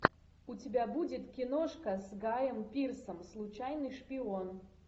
у тебя будет киношка с гайем пирсом случайный шпион